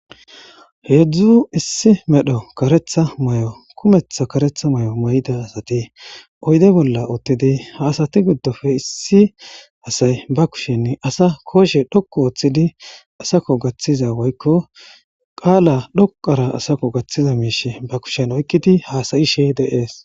heedzdzu issi medho karetha may7o kumetha karetha may7o may7da asati oyde bolla oottidi haasati giddofe issi asay ba kushen asa kooshe dhokku ooththidi asako gaththiza woykko qaala dhoqara asako gaththiza miish ba kushen oykkidi haasayishe deees